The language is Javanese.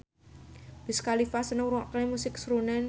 Wiz Khalifa seneng ngrungokne musik srunen